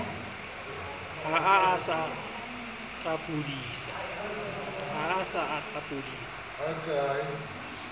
ha a sa a qapodisa